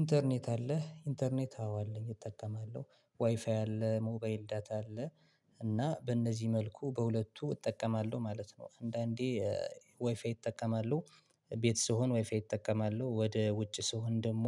ኢንተርኔት አለ ኢንተርኔት አዎ አለኝ እጠቀማለሁ ዋይፋይ አለ ሞባይል ዳታ አለ። እና በእነዚህ መልኩ በሁለቱ እጠቀማለሁ ማለት ነው። አንዳንዴ ወይፋይ እጠቀማለሁ ቤት ስሆን ዋይፋይ እጠቀማለሁ ወደ ውጭ ስሆን ደግሞ